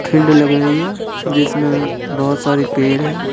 Field लग रही है जिसमें बहुत सारी पेयर हैं।